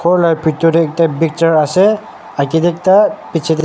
ghor laga picture tae ekta picture asa agae tae ekta pichey tae.